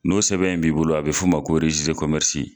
N'o sɛbɛn in b'i bolo a bɛ f'u ma ko